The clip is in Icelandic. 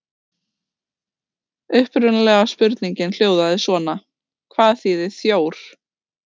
Upprunalega spurningin hljóðaði svona: Hvað þýðir þjór?